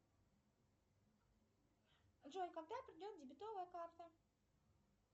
джой когда придет дебетовая карта